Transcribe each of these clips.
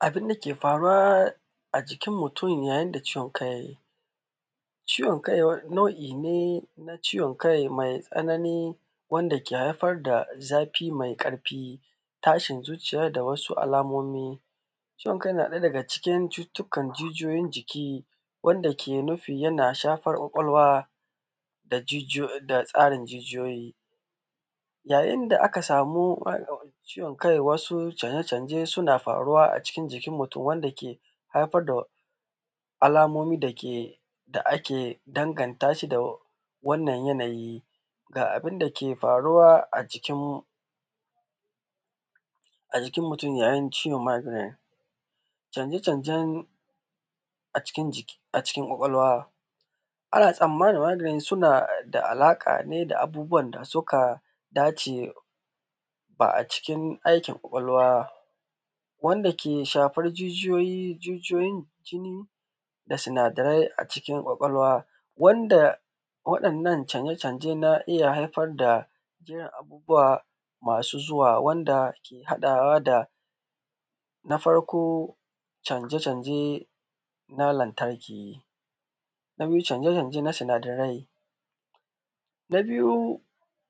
Abin da ke faruwa a jikin mutum yayin da ciwon kai nau’i ne na ciwon kai mai tsanani wanda ke haifar da zafi mai ƙarfi, tashin zuciya. Ga wasu alamomi ciwon kai na ɗaya daga cikin ciwuwwukan ganganjiki wanda ke nufin yana shafar kwakwalwa da tsarna jijiyoyi yayin da aka samu ciwon kai, wasu canje-canje suna a cikin jikin mutum wanda ke haifar da wasu alamomi dake da ake danganta shi da wannan yanayi da abin da ke faruwa a cikin a jikin mutum, yayin ciwon maginet canje-canjen a cikin kwakwalwa ana samun maganin suna da alaƙa ne da abubuwan da suka dace. Ba a cikin aikin kwakwalwa wanda jijiyoyi, jijiyoyin jiki da sinadarai a cikin kwakwalwa wanda waɗannan canje-canje nan a iya haifar da jinin abubuwa, masu zuwa wanda haɗawa da na farko canje-canje na lantarki na biyu canje-canje na sinadarai na biyu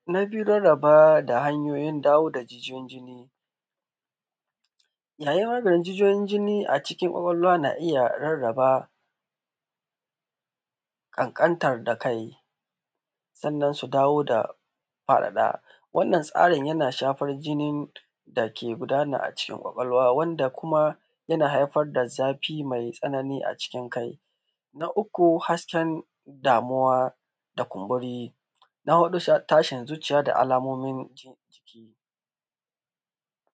na biyu rarraba da hanyoyin dawo da jikin jini yayin wannan jijiyoyin jini a cikin kwakwalwan a iya rarraba ƙanƙanratar da kai sannan su dawo da faraɗa wannan tsarin yana shafar jinin da ke gudana a cikin kwakwalwa wanda kuma yana haifar da zafi mai tsanani a cikin kai. Na uku hasken damuwa da kunburi na huɗu rashin zuciya da alamomin jin jiki.